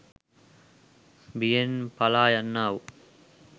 බියෙන් පලා යන්නා වූ